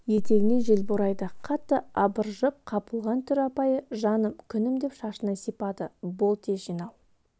етегінен жел борайды қатты абыржып қапылған түр апайы жаным күнім деп шашынан сипады бол тез жинал